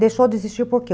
Deixou de existir por quê?